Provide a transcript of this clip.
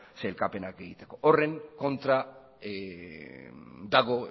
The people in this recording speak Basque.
sailkapenak egiteko horren kontra dago